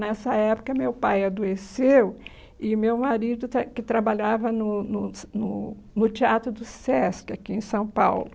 Nessa época, meu pai adoeceu e meu marido, que trabalhava no no no no Teatro do Sesc, aqui em São Paulo.